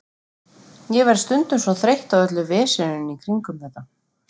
Ég verð stundum svo þreytt á öllu veseninu í kringum þetta.